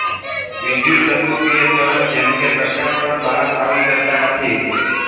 વિઘ્યુતચુંબકિય તરંગ જેમકે પ્રકાશ પણ બહાર આવી શકતા નથી